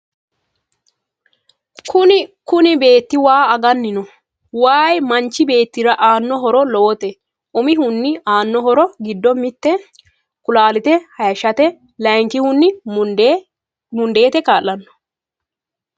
Kunni beeti waa agani no. Wayi manichi beetirra aano horro lowote umihuni aano horro giddo mitte kulaalite hayiishshate. Layikihuni mundeete kaalano.